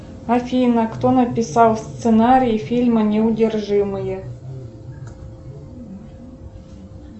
афина кто написал сценарий фильма неудержимые